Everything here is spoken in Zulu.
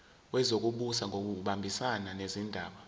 wezokubusa ngokubambisana nezindaba